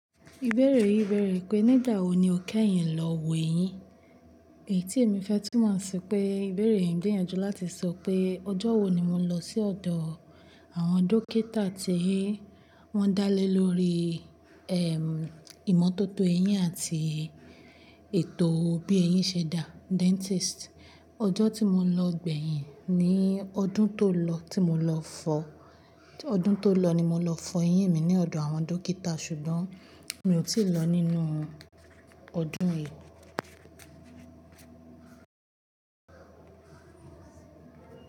Ìbéèrè yìí bẹ̀rẹ̀ pée, nígbawo ni o kẹ́yìn lọ wo eyín? Èyí tí èmi fẹ́ túmọ̀ sí pé ìbéèrè yìí ń gbíyànjú láti sọ pé ọjọ́ wo ni mo lọ sí ọ̀dọ̀ Awọn Dókítà tí wọ́n dá lé lórí, ìmọ́tótó eyín àti ètò bí eyín ṣe dà, dentist. Ọjọ́ tí mo lọ gbẹ̀yìn ni ọdún tó lọ tí mo lọ fọ ọdún tó lọ ni mo lọ fọ eyín mi ní ọ̀dọ̀ àwọn Dókítà ṣùgbọ́n mi ò tí ì lọ nínú ọdún yìí.